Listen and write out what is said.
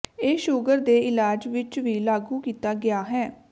ਇਹ ਸ਼ੂਗਰ ਦੇ ਇਲਾਜ ਵਿੱਚ ਵੀ ਲਾਗੂ ਕੀਤਾ ਗਿਆ ਹੈ